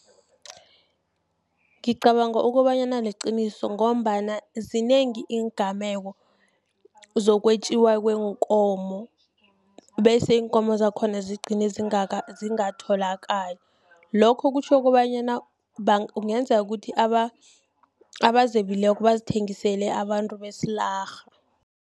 Ngicabanga ukobanyana liqiniso, ngombana zinengi iingameko, zokwetjiwa kweenkomo, bese iinkomo zakhona zigcine zingatholakali. Lokho kutjho kobanyana, kungenzeka ukuthi abazebileko bazithengisele abantu besilarha.